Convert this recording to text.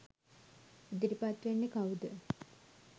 ඉදිරිපත්වෙන්නෙ කවුද?